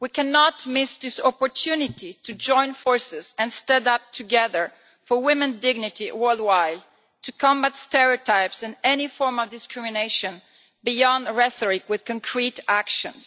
We cannot miss this opportunity to join forces and stand up together for women's dignity worldwide, to combat stereotypes and any form of discrimination, going beyond rhetoric with concrete actions.